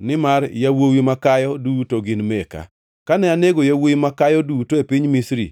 nimar yawuowi makayo duto gin meka. Kane anego yawuowi makayo duto e piny Misri,